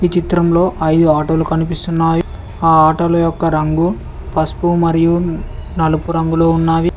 ఈ చిత్రంలో అయిదు ఆటోలు కనిపిస్తున్నాయి ఆ ఆటోల యొక్క రంగు పసుపు మరియు నలుపు రంగులో ఉన్నావి.